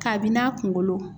Kabini n'a kunkolo.